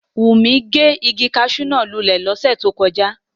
Wunmi ge igi caṣú náa lulẹ lose to koja.